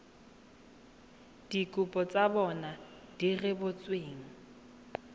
dikopo tsa bona di rebotsweng